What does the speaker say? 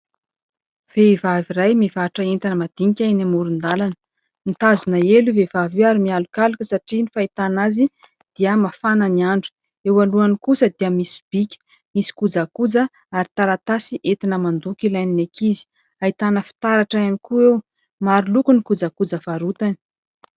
Vehivavy iray mivarotra entana madinika eny amoron-dàlana. Mitazona elo io vehivavy io ary mialokaloka satria ny fahitana azy dia mafana ny andro. Eo alohany kosa dia misy sobika misy kojakoja ary taratasy entina mandoko ilain'ny ankizy. Ahitana fitaratra ihany koa eo. Maro loko ny kojakoja varotany.